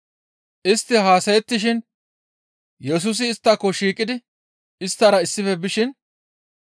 Istti haasayettishin Yesusi isttako shiiqidi isttara issife bishin,